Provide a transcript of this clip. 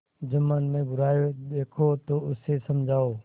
जुम्मन में बुराई देखो तो उसे समझाओ